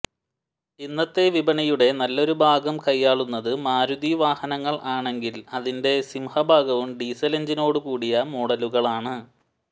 ഇന്നത്തെ വിപണിയുടെ നല്ലൊരു ഭാഗം കയ്യാളുന്നത് മാരുതി വാഹനങ്ങൾ ആണെങ്കിൽ അതിന്റെ സിംഹഭാഗവും ഡീസൽ എൻജിനോടുകൂടിയ മോഡലുകളാണ്